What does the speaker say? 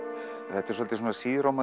þetta er svolítið svona